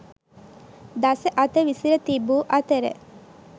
දස අත විසිර තිබූ අතර